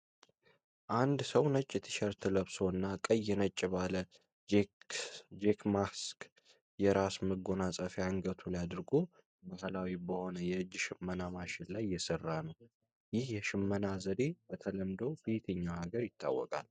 አንድ ሰው ነጭ ቲሸርት ለብሶ እና ቀይና ነጭ ባለ ቼክማስክ የራስ መጎናጸፊያ አንገቱ ላይ አድርጎ ባህላዊ በሆነ የእጅ ሽመና ማሽን ላይ እየሰራ ነው። ይህ የሽመና ዘዴ በተለምዶ በየትኛው ሀገር ይታወቃል?